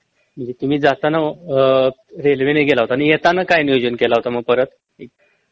म्हंजे तुम्ही जाताना अ रेल्वे नि गेला होता आणि येताना काय नियोजन केला होता मग परत